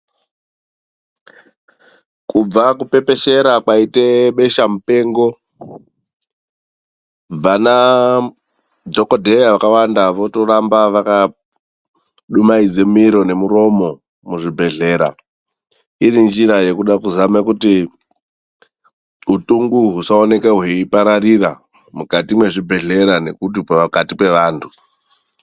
Kubva kupepeshera kwaite besha mupengo, vana dhokodheya vakawanda votoramba vakadumaidze miro nemuromo muzvibhedhlera irinjira yekuda kuzama kuti utungu husaoneke hweipararira mukati mwezvibhedhlera nepakati pevantu.